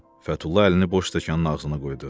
Fətulla əlini boş stəkanın ağzına qoydu.